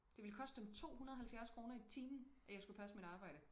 Det ville koste dem 270 kroner i timen at jeg skulle passe mit arbejde